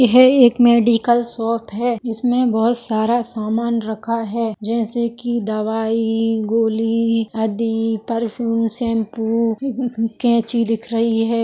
यह एक medical shop है इसमें बहुत सारा सामान रखा है जैसे कि दवाई गोली आदि परफ्यूम शेम्पू कैंची दिख रही है।